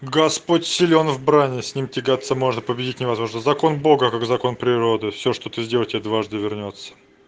господь силен в брани с ним тягаться можно победить невозможно закон бога как закон природы всё что ты сделал тебе дважды вернётся